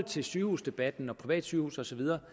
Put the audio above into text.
til sygehusdebatten og privatsygehuse og så videre